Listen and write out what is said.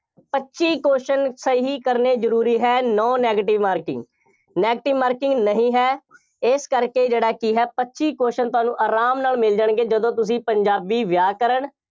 ਪੱਚੀ question ਸਹੀ ਕਰਨੇ ਜ਼ਰੂਰੀ ਹੈ। no negative marking, negative marking ਨਹੀਂ ਹੈ, ਇਸ ਕਰਕੇ ਜਿਹੜਾ ਕਿ ਹੈ, ਪੱਚੀ question ਤੁਹਾਨੂੰ ਆਰਾਮ ਨਾਲ ਮਿਲ ਜਾਣਗੇ, ਜਦੋਂ ਤੁਸੀਂ ਵਿਆਕਰਣ